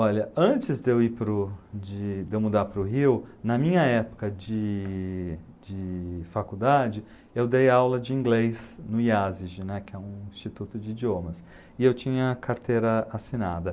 Olha, antes de eu ir para o de de eu mudar para o Rio, na minha época de de faculdade, eu dei aula de inglês no Iasig, né, que é um instituto de idiomas, e eu tinha carteira assinada